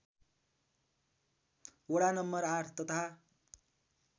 वडा नं ८ तथा